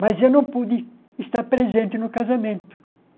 Mas eu não pude estar presente no casamento.